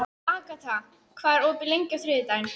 Agata, hvað er opið lengi á þriðjudaginn?